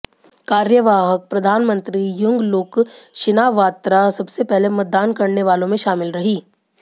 कार्यवाहक प्रधानमंत्री Yingluck Shinawatra सबसे पहले मतदान करने वालों में शामिल रहीं